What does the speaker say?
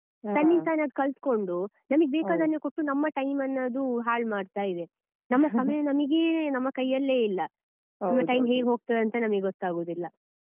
ತನ್ನಷ್ಟಕ್ಕೆ ತಾನೇ ಕಲ್ತುಕೊಂಡು ನಮಗೆ ಬೇಕಾದನ್ನೆ ಕೊಟ್ಟು ನಮ್ಮ time ನ್ನು ಅದು ಹಾಲ್ ಮಾಡ್ತಾ ಇದೆ ನಮ್ಮ ಸಮಯ ನಮ್ಗೆ ನಮ್ಮ ಕೈಯಲ್ಲೇ ಇಲ್ಲ ನಮ್ಮ time ಹೇಗೆ ಹೋಗ್ತದಂತ ನಮಗೆ ಗೊತ್ತಾಗುದಿಲ್ಲ.